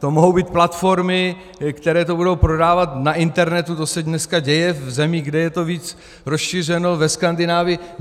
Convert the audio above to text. To mohou být platformy, které to budou prodávat na internetu, to se dneska děje v zemích, kde je to víc rozšířeno, ve Skandinávii.